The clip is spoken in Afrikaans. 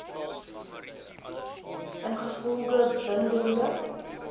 ingevolge bin dende